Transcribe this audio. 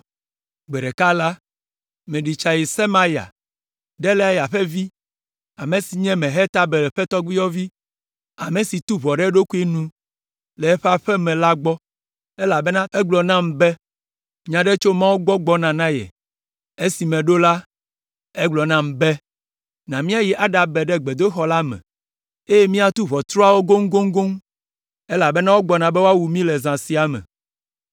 Gbe ɖeka la, meɖi tsa yi Semaya, Delaya ƒe vi, ame si nye Mehetabel ƒe tɔgbuiyɔvi, ame si tu ʋɔ ɖe eɖokui nu le eƒe aƒe me la gbɔ, elabena egblɔ nam be, nya aɖe tso Mawu gbɔ gbɔna na ye. Esi meɖo la, egblɔ nam be, “Na míayi aɖabe ɖe gbedoxɔ la me, eye míatu ʋɔtruawo goŋgoŋgoŋ, elabena wogbɔna be woawu mí le zã sia me.”